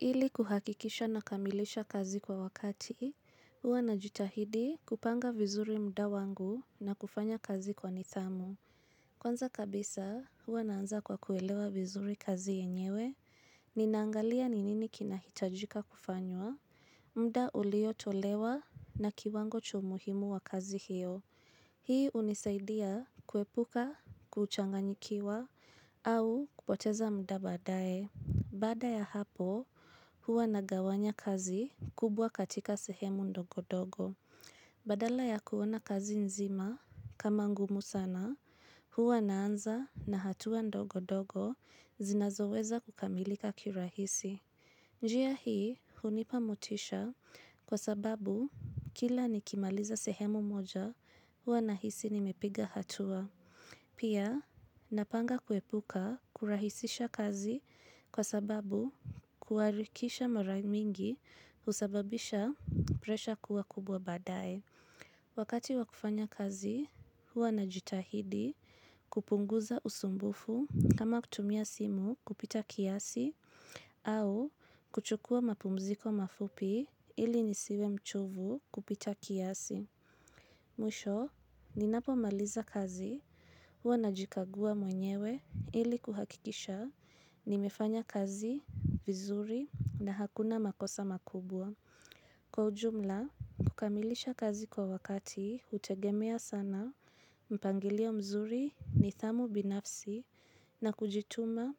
Ili kuhakikisha na kamilisha kazi kwa wakati, huwa na jitahidi kupanga vizuri mda wangu na kufanya kazi kwa nidhamu. Kwanza kabisa, huwa naanza kwa kuelewa vizuri kazi yenyewe, ninaangalia ninini kinahitajika kufanywa, mda uliyo tolewa na kiwango cha umuhimu wa kazi hiyo. Hii unisaidia kuepuka, kuchanganyikiwa, au kupoteza mda baadae. Baada ya hapo, huwa nagawanya kazi kubwa katika sehemu ndogo-dogo. Badala ya kuona kazi nzima kama ngumu sana, huwa naanza na hatua ndogo-dogo zinazoweza kukamilika kirahisi. Njia hii, hunipamotisha kwa sababu kila nikimaliza sehemu moja, huwa na hisi nimepiga hatua. Pia, napanga kuepuka kurahisisha kazi kwa sababu kuarikisha mara mingi usababisha presha kuwa kubwa badaye Wakati wakufanya kazi, huwa na jitahidi kupunguza usumbufu kama kutumia simu kupita kiasi au kuchukua mapumziko mafupi ili nisiwe mchovu kupita kiasi. Mwisho, ninapo maliza kazi, huwa na jikagua mwenyewe ili kuhakikisha ni mefanya kazi vizuri na hakuna makosa makubwa. Kwa ujumla, kukamilisha kazi kwa wakati, hutegemea sana, mpangilio mzuri ni thamu binafsi na kujituma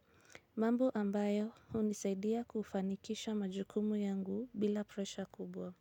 mambo ambayo unisaidia kufanikisha majukumu yangu bila presha kubwa.